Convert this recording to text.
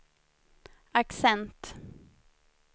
accent